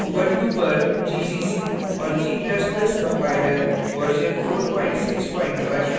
ubuntu पर gcc और g ++ compiler version 461